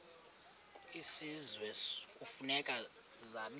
kwisizwe kufuneka zabiwe